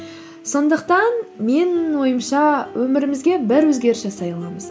сондықтан менің ойымша өмірімізге бір өзгеріс жасай аламыз